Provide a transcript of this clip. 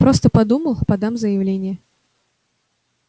просто подумал подам заявление